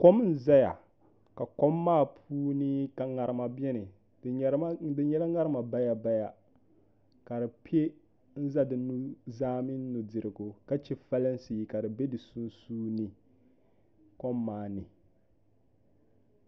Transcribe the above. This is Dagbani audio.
Kom n ʒɛya ka kom maa puuni ka ŋarima biɛni di nyɛla ŋarima bayabaya ka di pɛ n ʒɛ di nuzaa mini nudirigu ka chɛ folinsi ka di bɛ di sunsuuni kom maa ni